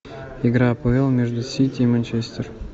игра апл между сити и манчестер